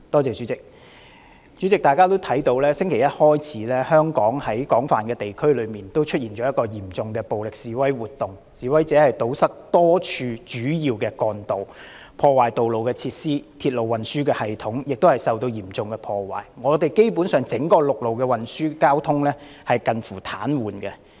主席，大家也看到自星期一起，香港廣泛地區出現嚴重的暴力示威活動，示威者堵塞多條主要幹道，破壞道路設施，鐵路運輸系統亦受到嚴重破壞，香港整個陸路運輸交通基本上近乎癱瘓。